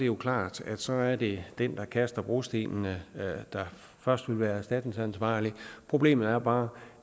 jo klart at så er det den der kaster brostenen der først vil være erstatningsansvarlig problemet er bare